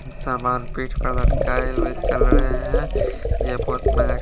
सामान पेट पे लटका है वे चल रहे है ये बहोत में--